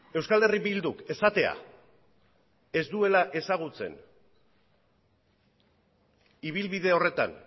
euskal herria bilduk esatea ez duela ezagutzen ibilbide horretan